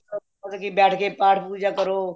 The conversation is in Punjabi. ਮਤਲਬ ਕੀ ਬੈਠ ਕੇ ਪਾਠ